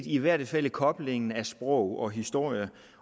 i hvert fald er koblingen af sprog og historie